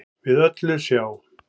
við öllu sjá